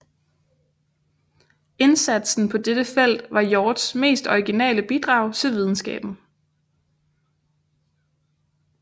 Indsatsen på dette felt var Hjorths mest originale bidrag til videnskaben